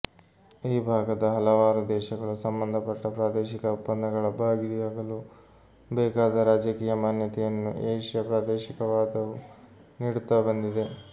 ಈ ಭಾಗದ ಹಲವಾರು ದೇಶಗಳು ಸಂಬಂಧಪಟ್ಟ ಪ್ರಾದೇಶಿಕ ಒಪ್ಪಂದಗಳ ಭಾಗಿಯಾಗಲು ಬೇಕಾದ ರಾಜಕೀಯ ಮಾನ್ಯತೆಯನ್ನು ಏಶ್ಯ ಪ್ರಾದೇಶಿಕವಾದವು ನೀಡುತ್ತಾ ಬಂದಿದೆ